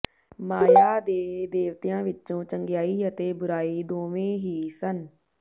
ਮਾਇਆ ਦੇ ਦੇਵਤਿਆਂ ਵਿਚੋਂ ਚੰਗਿਆਈ ਅਤੇ ਬੁਰਾਈ ਦੋਵੇਂ ਹੀ ਸਨ